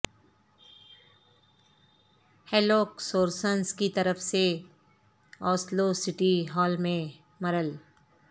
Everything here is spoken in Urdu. ہیلوک سورنسنس کی طرف سے اوسلو سٹی ہال میں مرل